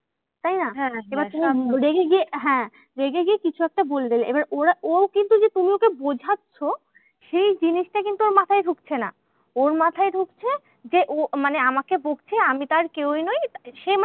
তাইনা? তুমি রেগে গিয়ে হ্যাঁ গেড়ে গিয়ে কিছু একটা বলে দেবে। এবার ওরা ও কিন্তু যে তুমি ওকে বোঝাচ্ছো সেই জিনিসটা কিন্তু ওর মাথায় ঢুকছে না। ওর মাথায় ঢুকছে যে, ও মানে আমাকে বকছে আমি তার কেউই নই তাই। সে